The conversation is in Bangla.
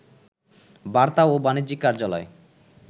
বার্তা ও বাণিজ্যিক কার্যালয়